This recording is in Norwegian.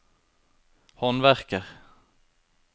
håndverker